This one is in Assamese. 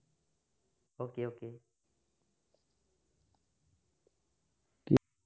okay okay